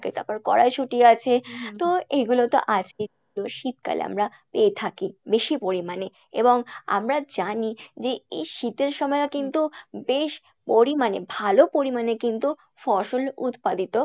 থাকে তারপর কড়াইশুঁটি আছে তো এগুলো তো শীতকালে আমরা পেয়ে থাকি বেশি পরিমাণে এবং আমরা জানি যে এই শীতের সময়েও কিন্তু বেশ পরিমাণে ভালো পরিমাণে কিন্তু ফসল উৎপাদিত